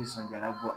Ni san kɛla bɔ